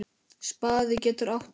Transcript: Spaði getur átt við